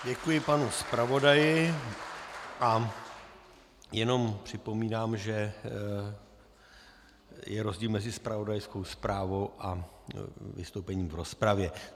Děkuji panu zpravodaji a jenom připomínám, že je rozdíl mezi zpravodajskou zprávou a vystoupením v rozpravě.